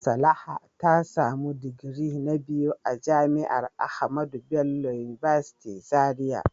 Salaha ta samu digiri na biyu a jami'ar AHMADU BELLO UNIVERSITY Zaria.